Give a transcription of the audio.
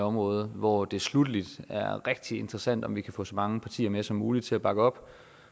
område hvor det sluttelig er rigtig interessant om vi kan få så mange partier som muligt til at bakke op